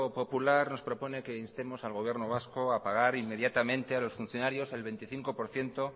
popular nos proponen que instemos al gobierno vasco a pagar inmediatamente a los funcionarios el veinticinco por ciento